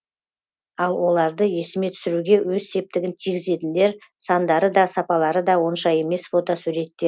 ал оларды есіме түсіруге өз септігін тигізетіндер сандары да сапалары да онша емес фотосуретте